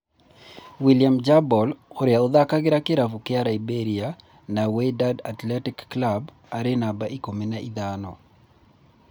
William Jebor ũria ũthakagira kĩravũkĩa Liberia na Wydad Athletic Club arĩ numba ikũmi na ithano.